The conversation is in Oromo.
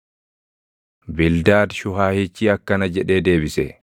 Bildaad Shuhaahichi akkana jedhee deebise: